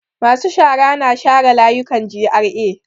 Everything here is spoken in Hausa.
Masu shara na share layukan GRA.